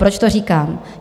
Proč to říkám?